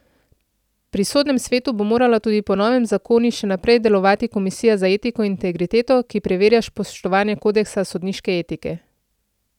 Pri sodnem svetu bo morala tudi po novem zakoni še naprej delovati komisija za etiko in integriteto, ki preverja spoštovanje kodeksa sodniške etike.